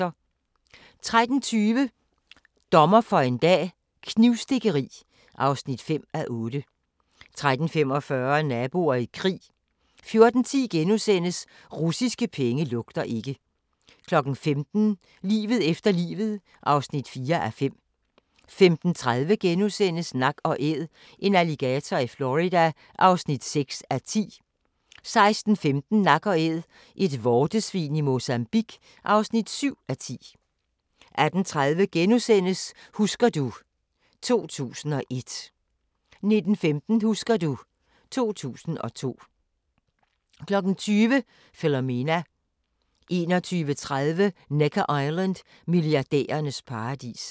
13:20: Dommer for en dag - knivstikkeri (5:8) 13:45: Naboer i krig 14:10: Russiske penge lugter ikke * 15:00: Livet efter livet (4:5) 15:30: Nak & Æd – en alligator i Florida (6:10)* 16:15: Nak & Æd - et vortesvin i Mozambigue (7:10) 18:30: Husker du ... 2001 * 19:15: Husker du ... 2002 20:00: Philomena 21:30: Necker Island: Milliardærernes paradis